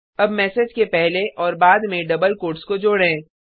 अब मैसेज के पहले और बाद में डबल कोट्स को जोडें